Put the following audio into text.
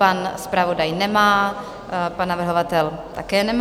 Pan zpravodaj nemá, pan navrhovatel také nemá.